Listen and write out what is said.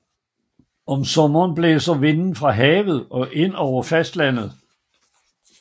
Om sommeren blæser vinden fra havet og ind over fastlandet